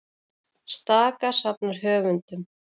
Staka safnar höfundum